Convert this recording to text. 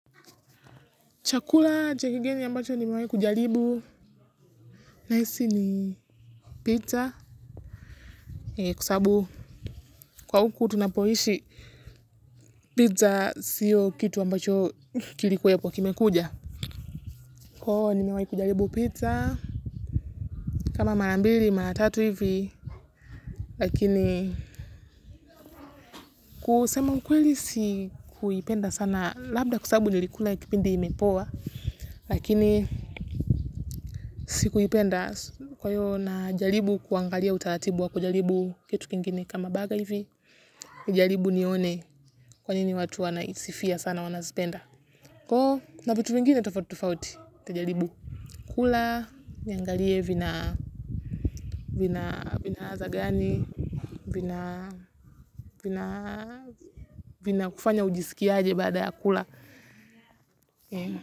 Chakula chakigeni ambacho nimewahi kujalibu. Nahisi ni pizza. Kwa huku tunapoishi pizza siyo kitu ambacho kilikuwepo kwa kime kuja. Kwahiyo huku nimewahi kujaribu pizza kama mara mbili maratatu hivi lakini kusema kweli sikuipenda sana labda kwasababu nilikula ya kipindi imepoa lakini sikuipenda kwahio na jaribu kuangalia utaratibu wa kujalibu kitu kingine. Kama baga hivi, kujalibu nione kwa nini watu wana isifia sana wanazipenda. Kwahio, na vitu vingine tofauti tofauti, nitajaribu kula, niangalie vina ladha gani, vina kufanya ujisikiaje baada ya kula.